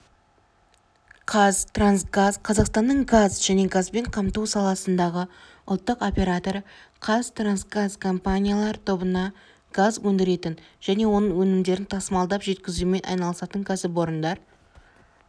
қазтрансгаз қазақстанның газ және газбен қамту саласындағы ұлттық операторы қазтрансгаз компаниялар тобына газ өндіретін және оның өнімдерін тасымалдап жеткізумен айналысатын кәсіпорындар